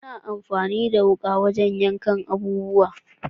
Ana amfani da wuka wajen yankan abubuwa.